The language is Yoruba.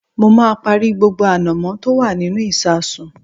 Mo máa parí gbogbo ànàmọ́ tí ó wà nínú ìsasùn